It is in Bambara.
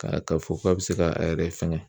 Ka ka fɔ k'a bi se k'a yɛrɛ fɛngɛ